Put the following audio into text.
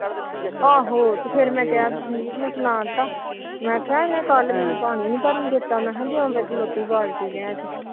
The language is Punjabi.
ਆਹੋ ਤੇ ਫਿਰ ਸਣਾ ਤਾ ਮੈ ਕਿਹਾ ਇਹਨੇ ਕੱਲ ਮੈਨੂੰ ਪਾਣੀ ਨੀ ਭਰਨ ਦਿੱਤਾ ਉਵੇ ਖਲੋਤੀ ਬਾਲਟੀ ਲੈਕੇ